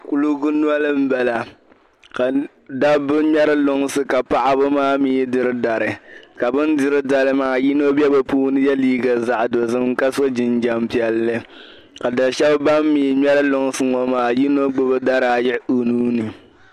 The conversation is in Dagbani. Kuligi noli m bala ka dabba ŋmeri lunsi ka paɣaba maa mii diri dari ka bin diri dari maa yino be bɛ ni ye liiga dozim ka so jinjam piɛlli ka dabbi shɛb ban mi ŋmeri lunsi maa yino gbubi daraayi o nuuni.